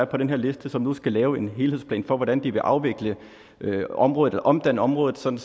på den her liste som nu skal lave en helhedsplan for hvordan de vil afvikle området eller omdanne området sådan